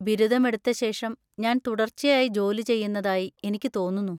ബിരുദമെടുത്തശേഷം ഞാൻ തുടർച്ചയായി ജോലി ചെയ്യുന്നതായി എനിക്ക് തോന്നുന്നു.